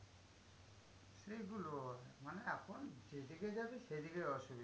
সেগুলো মানে এখন যেদিকে যাবি সেদিকেই অসুবিধা।